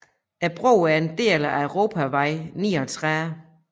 Broen er en del af europavej 39